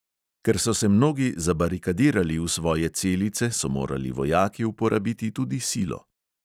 Ker so se mnogi zabarikadirali v svoje celice, so morali vojaki uporabiti tudi silo.